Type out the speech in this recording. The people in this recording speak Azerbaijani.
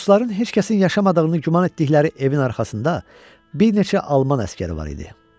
Dostların heç kəsi yaşamadığını güman etdikləri evin arxasında bir neçə alman əsgəri var idi.